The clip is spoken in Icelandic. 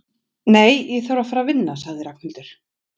Nei, ég þarf að fara að vinna sagði Ragnhildur.